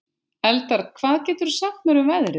Eldar, hvað geturðu sagt mér um veðrið?